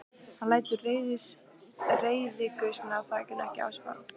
Hann lætur reiðigusuna af þakinu ekki á sig fá.